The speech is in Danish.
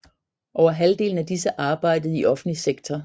Over halvdelen af disse arbejdede i offentlig sektor